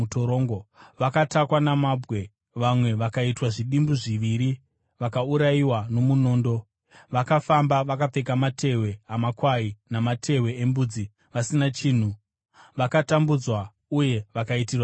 Vakatakwa namabwe; vamwe vakaitwa zvidimbu zviviri; vakaurayiwa nomunondo. Vakafamba vakapfeka matehwe amakwai namatehwe embudzi, vasina chinhu, vakatambudzwa uye vakaitirwa zvakaipa,